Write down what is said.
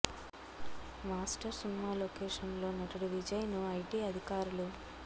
master cinema location లో నటుడు విజయ్ ను ఐటి అధికారులు